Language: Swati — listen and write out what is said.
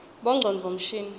bongcondvo mshini